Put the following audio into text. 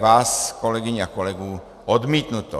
vás, kolegyň a kolegů, odmítnuto.